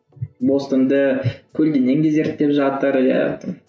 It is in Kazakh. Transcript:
бостанды зерттеп жатыр иә